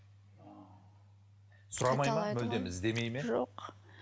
сұрамайды ма мүлдем іздемейды ме жоқ